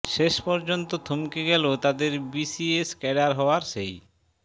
শেষ পর্যন্ত থমকে গেলো তাদের বিসিএস ক্যাডার হওয়ার সেই